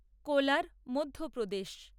Kolar Madhya Pradesh